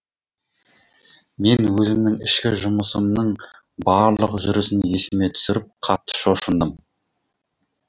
мен өзімнің ішкі жұмысымның барлық жүрісін есіме түсіріп қатты шошындым